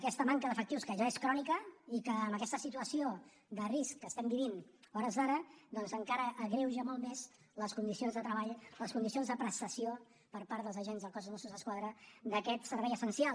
aquesta manca d’efectius que ja és crònica i que amb aquesta situació de risc que estem vivint a hores d’ara doncs encara agreuja molt més les condicions de treball les condicions de prestació per part dels agents del cos de mossos d’esquadra d’aquest servei essencial